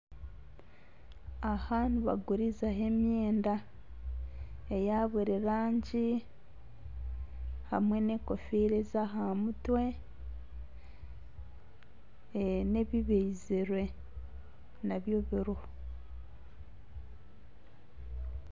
Aha nibagurizaho emyende eya buri rangi hamwe n'enkofiira ez'aha mutwe n'ebibaizirwe nabyo biriho